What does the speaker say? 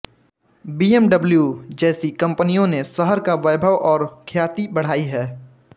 BMW जैसी कंपनियों ने शहर का वैभव और ख्याति बढ़ाई है